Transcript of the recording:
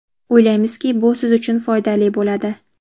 O‘ylaymizki, bu siz uchun foydali bo‘ladi.